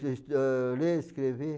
ler, escrever.